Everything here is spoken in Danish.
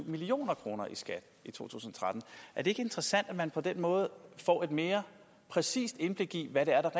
million kroner i skat i to tusind og tretten er det ikke interessant at man på den måde får et mere præcist indblik i hvad det er der